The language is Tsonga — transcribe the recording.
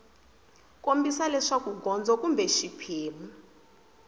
kombisa leswaku gondzo kumbe xiphemu